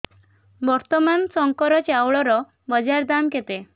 ବର୍ତ୍ତମାନ ଶଙ୍କର ଚାଉଳର ବଜାର ଦାମ୍ କେତେ